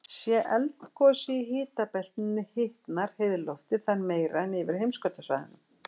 sé eldgosið í hitabeltinu hitnar heiðhvolfið þar meira en yfir heimskautasvæðunum